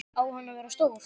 Á hann að vera stór?